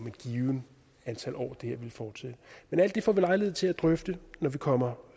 et givent antal år men alt det får vi lejlighed til at drøfte når vi kommer